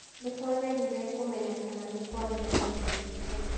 Nĩ twageririe kũmenya kana nĩ kwarĩ na mũndũ ũngĩ kũu.